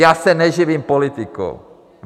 Já se neživím politikou.